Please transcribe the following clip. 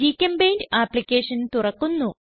ഗ്ചെമ്പെയിന്റ് application തുറക്കുന്നു